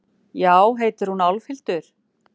Já, heitir hún Álfhildur?